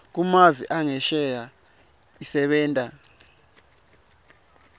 kumave angesheya isebenta